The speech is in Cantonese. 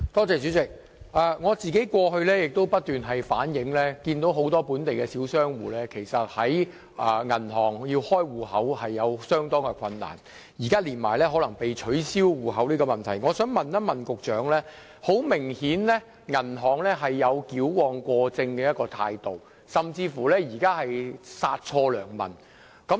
主席，我過去也不時反映，很多本地小商戶在銀行開立帳戶時遇到困難，現在更加上銀行取消客戶帳戶的問題，銀行顯然有矯枉過正甚至殺錯良民之嫌。